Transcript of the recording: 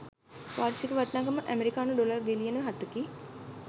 වාර්ෂික වටිනාකම ඇමෙරිකානු ඩොලර් බිලියන හතකි